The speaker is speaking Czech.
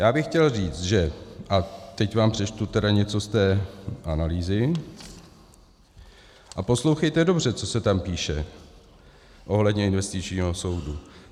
Já bych chtěl říci, že - a teď vám přečtu tedy něco z té analýzy, a poslouchejte dobře, co se tam píše ohledně investičního soudu.